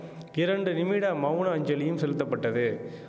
இரண்டு நிமிட மவுன அஞ்சலியும் செலுத்தப்பட்டது